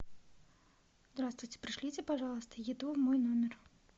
здравствуйте пришлите пожалуйста еду в мой номер